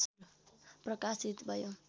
प्रकाशित भयो।